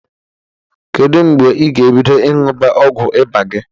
Kedu mgbe ị ga-ebido ịṅụba ọgwụ ịba gị?